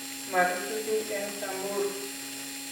marutu kiy eng Samburu